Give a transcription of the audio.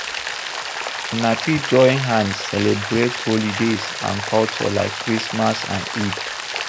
Una fit join hand celebrate holidays and culture like christmas and Eid